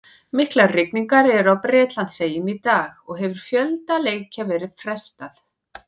Miklar rigningar eru á Bretlandseyjum í dag og hefur fjölda leikja verið frestað.